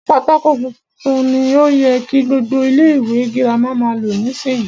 Pátákó funfun ni o yẹ kí gbogbo ilé ìwé girama máa lò nísìyí.